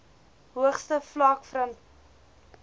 hoogste vlak verteenwoordig